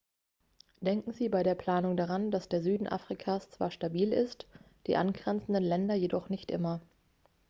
denken sie bei der planung daran dass der süden afrikas zwar stabil ist die angrenzenden länder jedoch nicht immer